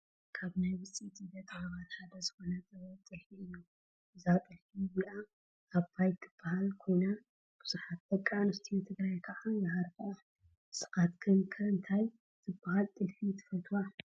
ካብ ናይ ውፅኢት ኢደ ጥበባት ሓደ ዝኾነ ጥበብ ጥልፊ እዩ፡፡ እዛ ጥልፊ እዚኣ "ኣባይ" ትባሃል ኮይና ብዙሓት ደቂ ኣንስትዮ ትግራይ ከዓ ይሃርፍኣ፡፡ ንስኻትክን ከ እንታይ ዝባሃል ጥልፊ ትፈጥዋ?